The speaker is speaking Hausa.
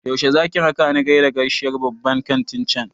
Yaushe zaki rakani gaida kashiyar babban kantin cen?